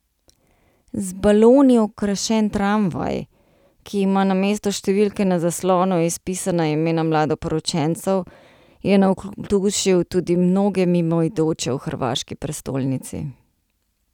Z baloni okrašen tramvaj, ki ima namesto številke na zaslonu izpisana imena mladoporočencev, je navdušil tudi mnoge mimoidoče v hrvaški prestolnici.